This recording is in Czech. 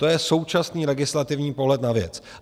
To je současný legislativní pohled na věc.